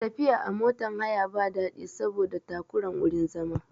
Tafiya a motan haya ba daɗi saboda takuran wurin zama